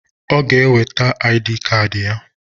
Ọ g'eweta aịdịị kad ya.